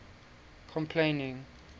complaining